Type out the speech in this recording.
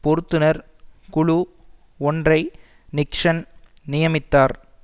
பொருத்துனர் குழு ஒன்றை நிக்சன் நியமித்தார்